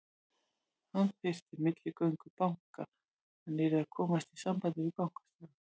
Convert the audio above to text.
Hann þyrfti milligöngu banka, hann yrði að komast í samband við bankastjóra.